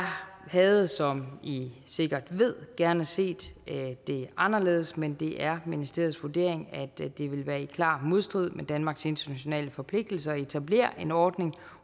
havde som i sikkert ved gerne set det anderledes men det er ministeriets vurdering at det det vil være i klar modstrid med danmarks internationale forpligtelser at etablere en ordning